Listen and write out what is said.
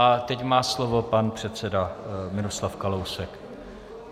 A teď má slovo pan předseda Miroslav Kalousek.